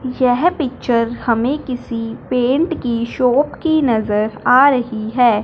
यह पिक्चर हमें किसी पेंट की शॉप की नजर आ रही है।